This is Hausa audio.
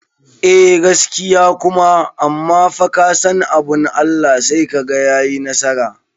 Eh gaskiya kuma amma fa kasan abun Allah sai kaga yayi nasara